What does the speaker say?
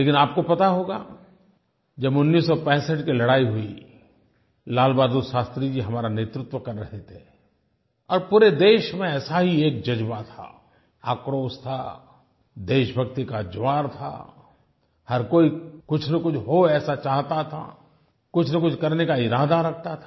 लेकिन आपको पता होगा जब 1965 की लड़ाई हुई लाल बहादुर शास्त्री जी हमारा नेतृत्व कर रहे थे और पूरे देश में ऐसा ही एक जज़्बा था आक्रोश था देशभक्ति का ज्वार था हर कोई कुछनकुछ हो ऐसा चाहता था कुछनकुछ करने का इरादा रखता था